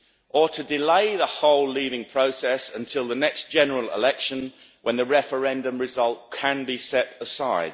or to delay the whole leaving process until the next general election, when the referendum result can be set aside.